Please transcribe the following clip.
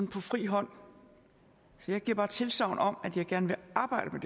på fri hånd så jeg giver bare tilsagn om at jeg gerne vil arbejde